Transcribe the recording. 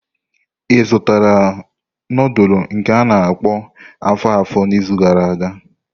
Ị zụtara nudulu nke a-na akpo afo-afo n'izu gara aga?